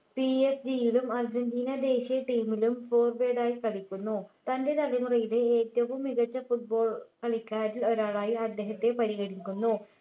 PSG യിലും Argentina ദേശീയ team ലും forward ആയി കളിക്കുന്നു തൻ്റെ തലമുറയിലെ ഏറ്റവും മികച്ച football കളിക്കാരിൽ ഒരാളായി അദ്ദേഹത്തെ പരിഗണിക്കുന്നു